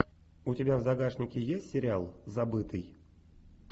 у тебя в загашнике есть сериал забытый